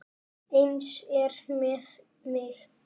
Eins er með mig.